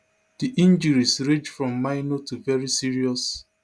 di injuries range from minor to veri serious